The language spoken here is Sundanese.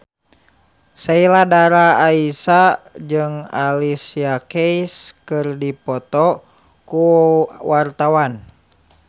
Sheila Dara Aisha jeung Alicia Keys keur dipoto ku wartawan